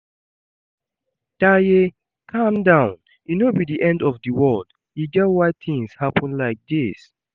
Taye, Calm down, e no be the end of the world, e get why things happen like dis